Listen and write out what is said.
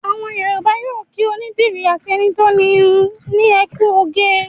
Àwọn Yorùbá yóò kí onídìrí àti ẹni tó ń irun ní "ẹ kú oge".